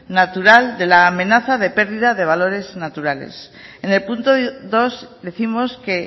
natural de la amenaza de pérdida de valores naturales en el punto dos décimos que